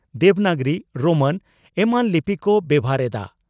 Devanagari Roman ᱮᱢᱟᱱ ᱞᱤᱯᱤ ᱠᱚ ᱵᱮᱵᱷᱟᱨ ᱮᱫᱼᱟ ᱾